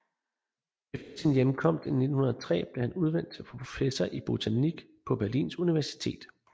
Efter sin hjemkomst i 1903 blev han udnævnt til professor i botanik på Berlins Universitet